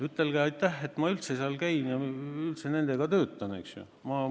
Ütelge aitäh, et ma üldse seal käin, üldse nendega töötan!